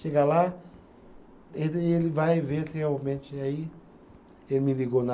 Chega lá, ele ele vai ver se realmente aí. Ele me ligou na.